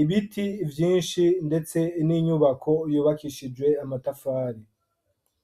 ibiti vyinshi ndetse n'inyubako yubakishijwe amatafari.